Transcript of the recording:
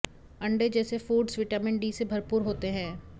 अंडे जैसे foods vitamin D से भरपूर होते हैं